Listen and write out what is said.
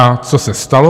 A co se stalo?